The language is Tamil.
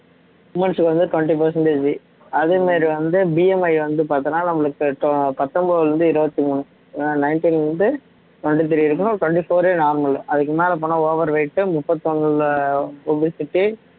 womens க்கு வந்து twenty percentage அதே மாதிரி வந்து BMI வந்து பார்த்தோம்ன்னா நம்மளுக்கு two பத்தொன்பதிலே இருந்து இருபத்தி மூணு ஏன்னா nineteen ல இருந்து twenty-three இருக்கணும் twenty-four ஏ normal அதுக்கு மேல போனா over weight முப்பத்து ஒண்ணுல obesity